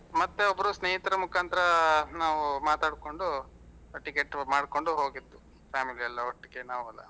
ಮತ್ತೆ ಒಬ್ರು ಸ್ನೇಹಿತರ ಮುಖಾಂತರ ನಾವು ಮಾತಾಡ್ಕೊಂಡು ticket ಉ ಮಾಡ್ಕೊಂಡು ಹೋಗಿದ್ದು family ಎಲ್ಲ ಒಟ್ಟಿಗೆ ನಾವೆಲ್ಲ.